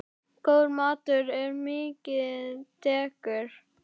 Góður matur er mikið dekur.